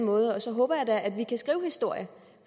måde og så håber jeg da at vi kan skrive historie